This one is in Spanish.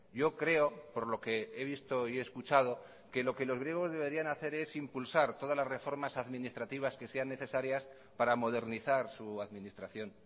yo creo por lo que he visto y he escuchado que lo que los griegos deberían hacer es impulsar todas las reformas administrativas que sean necesarias para modernizar su administración